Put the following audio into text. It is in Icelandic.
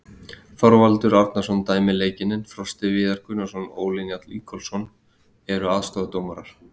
Þorvaldur Árnason dæmir leikinn en Frosti Viðar Gunnarsson og Óli Njáll Ingólfsson eru aðstoðardómarar.